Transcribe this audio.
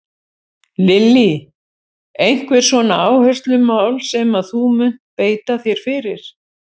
Lillý: Einhver svona áherslumál sem að þú munt beita þér fyrir?